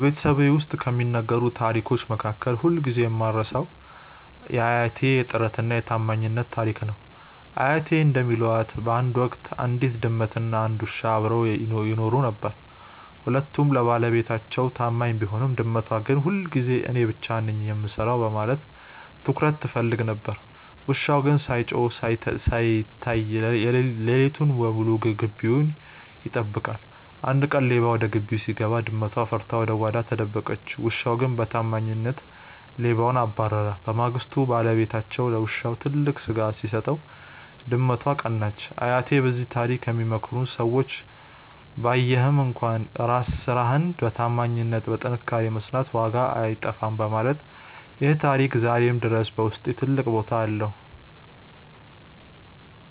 በቤተሰቤ ውስጥ ከሚነገሩ ታሪኮች መካከል ሁልጊዜ የማልረሳው የአያቴ "የጥረትና የታማኝነት" ታሪክ ነው። አያቴ እንደሚሉት፣ በአንድ ወቅት አንዲት ድመትና አንድ ውሻ አብረው ይኖሩ ነበር። ሁለቱም ለባለቤታቸው ታማኝ ቢሆኑም፣ ድመቷ ግን ሁልጊዜ እኔ ብቻ ነኝ የምሰራው በማለት ትኩረት ትፈልግ ነበር። ውሻው ግን ሳይጮህና ሳይታይ ሌሊቱን ሙሉ ግቢውን ይጠብቃል። አንድ ቀን ሌባ ወደ ግቢው ሲገባ፣ ድመቷ ፈርታ ወደ ጓዳ ተደበቀች። ውሻው ግን በታማኝነት ሌባውን አባረረ። በማግስቱ ባለቤታቸው ለውሻው ትልቅ ስጋ ሲሰጠው፣ ድመቷ ቀናች። አያቴ በዚህ ታሪክ የሚመክሩን ሰው ባያይህም እንኳን ስራህን በታማኝነትና በጥንካሬ መስራት ዋጋው አይጠፋም በማለት ነው። ይህ ታሪክ ዛሬም ድረስ በውስጤ ትልቅ ቦታ አለው።